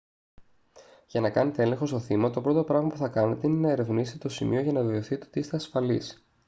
για να κάνετε έλεγχο στο θύμα το πρώτο πράγμα που θα κάνετε είναι να ερευνήσετε το σημείο για να βεβαιωθείτε ότι είστε ασφαλείς